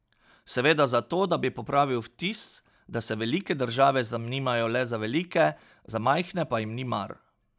Seveda zato, da bi popravil vtis, da se velike države zanimajo le za velike, za majhne pa jim ni mar.